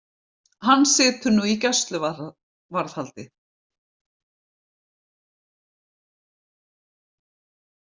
Hann situr nú í gæsluvarðhaldi